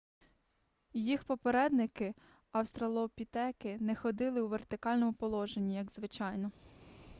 їх попередники австралопітеки не ходили у вертикальному положенні як звичайно